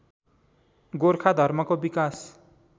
गोर्खाधर्मको विकास